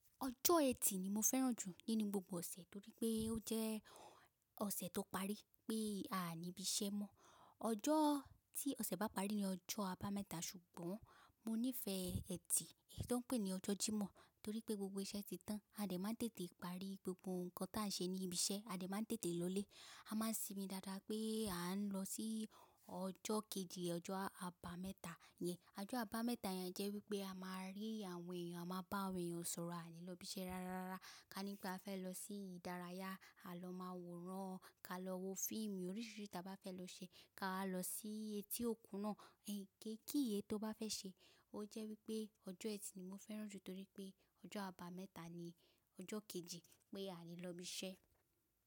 Ọjọ́ Eti ni mo fẹ́ràn jù nínú gbogbo ọ̀sẹ̀, torípé ó jẹ́ ọ̀sẹ̀ tó parí pé a ní ibi iṣẹ́ mo. Ọjọ́ tí ọ̀sẹ̀ bá parí ní ọjọ́ Aba mẹ́ta, ṣùgbọ́n mo nífẹ́ Eti, èyí tó ń pè ní ọjọ́ jimoh torípé gbogbo iṣẹ́ ti tán. A dẹ̀ má ń tètè parí gbogbo ǹkan ta nṣe ní ibi iṣẹ́, a dẹ̀ má ń tètè lọlé. A má nsinmi dada pé a ń lọ sí ọjọ́ kejì, ọjọ́ Aba mẹ́ta yẹn. Ọjọ́ Aba mẹ́ta yẹn jẹ́ wípé a má rí àwọn èyàn, a má bá àwọn èyàn sọ̀rọ̀, a lè lọ ibi iṣẹ́ rárá rárá. Ká nip ẹ fẹ́ lọ sí ìdárayá, a lọ má wo ran, ká lọ wo fíìmù oríṣiríṣi ta bá fẹ́ lọ ṣe, ká lọ sí etí òkun náà, ke kiye tó bá fẹ́ ṣe. O jẹ́ wípé ọjọ́ Eti ni mo fẹ́ràn jù torípé ọjọ́ Aba mẹ́ta ní ọjọ́ kejì pé a lè lọ ibi iṣẹ́.